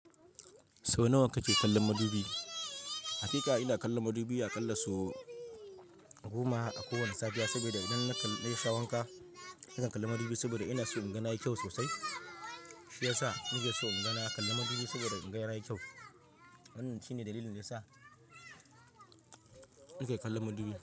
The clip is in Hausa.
Sau nawa kake kallon madubi? Hakika ina kallon madubi aƙalla sau goma a kowane safiya saboda idan na sha wanka, ina kallon madubi saboda ina so in gani ya yi kyau sosai. Shi yasa na ke so in gani a kallon madubi saboda in gani ya yi kyau. Wannan shine dalilin da ya sa na ke kallon madubi.